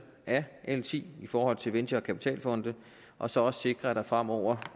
af l ti i forhold til venture og kapitalfonde og så også sikre at der fremover